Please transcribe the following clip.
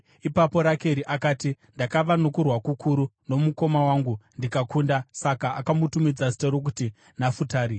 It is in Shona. Ipapo Rakeri akati, “Ndakava nokurwa kukuru nomukoma wangu, ndikakunda.” Saka akamutumidza zita rokuti Nafutari.